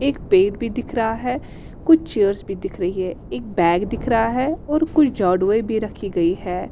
एक पेड़ भी दिख रहा है कुछ चेयरस भी दिख रही हैं एक बैग दिख रहा है और कुछ झाड़ूयें भी रखी गई हैं।